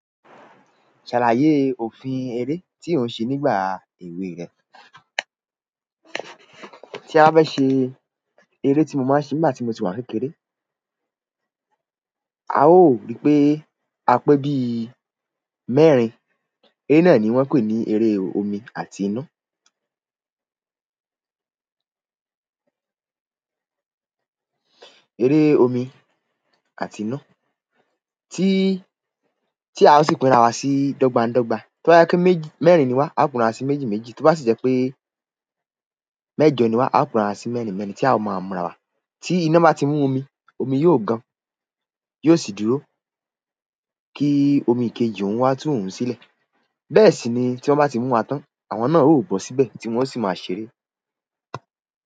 Ṣàlàyé òfin eré tí ò ń ṣe nígbà èwe rẹ ti a bá fẹ́ ṣe eré tí mo máa ń ṣe nígbà tí mo tì wà ń kékeré, a ó ri pé a pé bí i mẹ́rin, eré náà ni wọ́n ń pè ní eré omi àti iná. Eré omi àti iná tí, tí a ó sì pinra wa sí dọ́gbandọ́gba. Tó bá jẹ́ pé méjì mẹ́rin ni wá, a ó pín ara sí méjì méjì, tí ó bá sì jẹ́ pé mẹ́jọ ni wá, a ó pín ara sí mẹ́rin mẹ́rin tí a ó máa ń ra wa. Tí iná bá ti mú omi, omi yóò gan, yóò sì dúró kí omi kejì òun wá tú òun sílẹ̀. Bẹ́ẹ̀ sì ni tí wọ́n bá ti mú wa tán, àwọn náà óò bọ́ síbẹ̀ tí wọn ó sì máa a ṣeré.